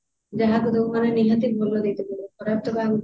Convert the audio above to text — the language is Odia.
ଯାହାକୁ ଦବୁ କାରଣ ନିହାତି ଭଲ ଦେଇତେ ପଡିବ ଖରାପ ତ କାହାକୁ ଦେଇ ପାରିବୁନି